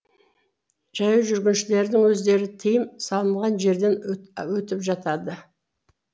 жаяу жүргіншілердің өздері тыйым салынған жерден өтіп жатады